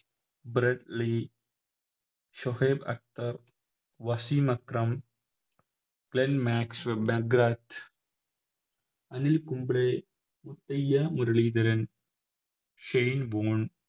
bread Lee Shoaib Akhtar Wasim Akram Anil Kumble Muralitharan Shane bone